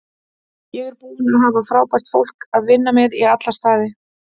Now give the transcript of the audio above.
Ég er búinn að hafa frábært fólk að vinna með í alla staði.